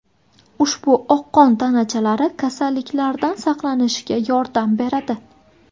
Ushbu oq qon tanachalari kasalliklardan saqlanishga yordam beradi.